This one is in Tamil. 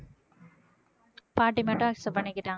பாட்டி மட்டும் accept பண்ணிக்கிட்டாங்க